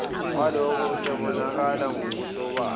walokho usubonakala ngokusobala